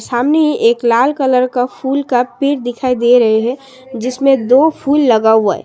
हमें एक लाल कलर का फूल का पेड़ दिखाई दे रहे हैं जिसमें दो फूल लगा हुआ है।